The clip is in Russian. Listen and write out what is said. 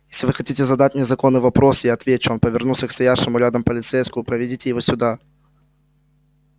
если вы хотите задать мне законный вопрос я отвечу он повернулся к стоявшему рядом полицейскому проведите его сюда